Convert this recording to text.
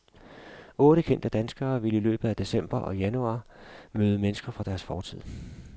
Otte kendte danskere vil i løbet af december og januar møde mennesker fra deres fortid.